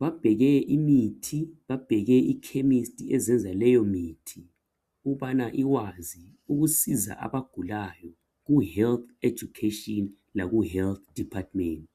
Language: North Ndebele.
babheke imithi babheke ikhemistri ezenza leyo mithi ukubana ikwazi ukusiza abagulayo Ku health education laku health department.